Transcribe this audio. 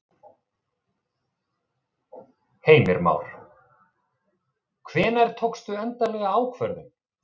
Heimir Már: Hvenær tókstu endanlega ákvörðun?